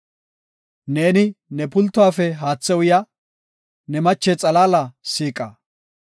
Neeni ne pultuwafe haathe uya; ne mache xalaala siiqa.